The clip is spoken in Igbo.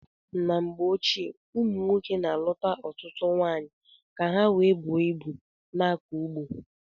N' mgbe ochie umunwoke na aluta ọtụtụ nwaanyị ka ha wee buo ịbu na akọ ugbo..